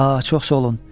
A, çox sağ olun.